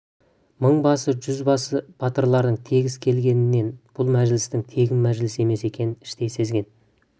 мың басы жүз басы батырлардың тегіс келгенінен бұл мәжілістің тегін мәжіліс емес екенін іштей сезген